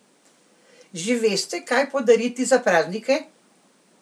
Že veste kaj podariti za praznike?